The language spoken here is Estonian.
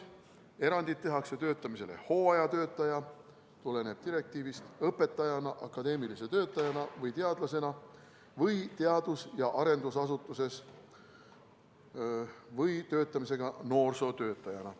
Erandid tehakse töötamisele hooajatöötajana , õpetajana, akadeemilise töötajana või teadlasena või teadus- ja arendusasutuses või töötamisele noorsootöötajana.